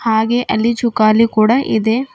ಹಾಗೆ ಅಲ್ಲಿ ಜೋಕಾಲಿ ಕೂಡ ಇದೆ.